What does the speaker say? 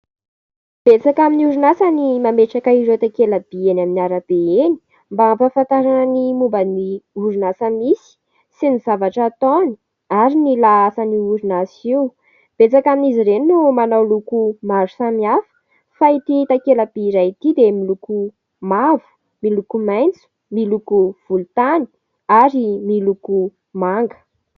Betsaka amin'ny orinasa ny mametraka ireo takela- by eny amin'ny arabe eny, mba hampafantarana ny momba ny orinasa misy sy ny zavatra ataony ary ny laasan'io orinasa io, betsaka amin'izy ireny no manao loko maro samihafa ; fa ity takala- by iray ity dia : miloko mavo, miloko maitso, miloko volontany ary miloko manga.